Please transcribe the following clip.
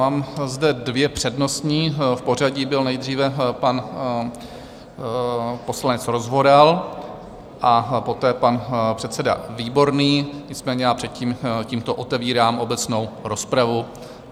Mám zde dvě přednostní, v pořadí byl nejdříve pan poslanec Rozvoral a poté pan předseda Výborný, nicméně já předtím tímto otevírám obecnou rozpravu.